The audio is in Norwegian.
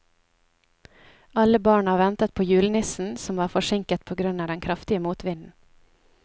Alle barna ventet på julenissen, som var forsinket på grunn av den kraftige motvinden.